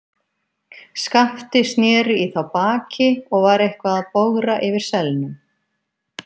Skapti sneri í þá baki og var eitthvað að bogra yfir selnum.